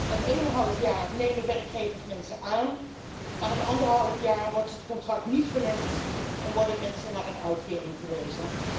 Het ene half jaar nemen werkgevers mensen aan, maar het andere half jaar wordt het contract niet verlengd en worden mensen naar een uitkering verwezen.